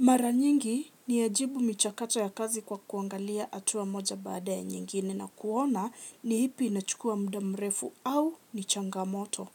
Mara nyingi niyajibu michakato ya kazi kwa kuangalia hatua moja baada ya nyingine na kuona ni ipi inachukua mda mrefu au ni changamoto.